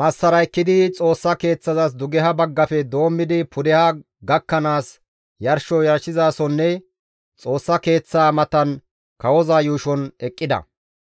massara ekkidi Xoossa Keeththazas dugeha baggafe doommidi pudeha gakkanaas yarsho yarshizasonne Xoossa Keeththaa matan kawoza yuushon eqqida.